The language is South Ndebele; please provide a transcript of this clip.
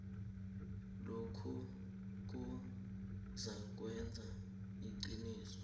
lokhuke kuzakwenza iqiniso